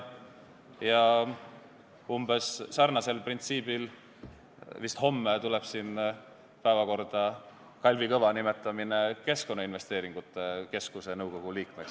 Ja sama printsiipi järgides – vist homme – tuleb siin arutlusele Kalvi Kõva nimetamine Keskkonnainvesteeringute Keskuse nõukogu liikmeks.